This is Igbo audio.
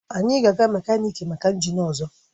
Anyị ga-aga mekaniki maka injin ọzọ